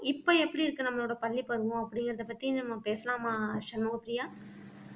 இப்ப எப்படி இருக்கு நம்மளோட பள்ளி பருவம் அப்படிங்கிறதைப் பத்தி நம்ம பேசலாமா சண்முகப்ரியா